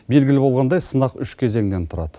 белгілі болғандай сынақ үш кезеңнен тұрады